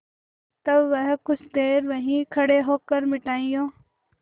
तब वह कुछ देर वहीं खड़े होकर मिठाइयों